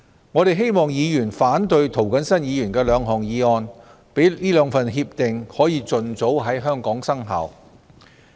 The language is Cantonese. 我希望議員反對涂謹申議員的兩項議案，讓該兩份協定盡早在香港生效。